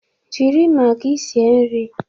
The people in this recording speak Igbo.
Jiri magi sie nri